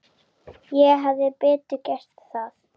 Ég hefði betur gert það.